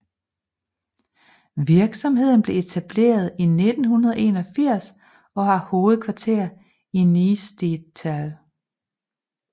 Virksomheden blev etableret i 1981 og har hovedkvarter i Niestetal